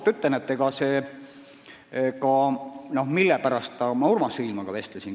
Ma ütlen ausalt, mille pärast ma Urmas Viilmaaga vestlesin.